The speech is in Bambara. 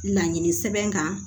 Laɲini sɛbɛn kan